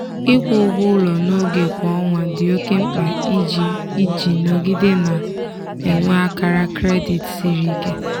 ịkwụ ụgwọ ụlọ n'oge kwa ọnwa dị oke mkpa iji iji nọgide na-enwe akara kredit siri ike.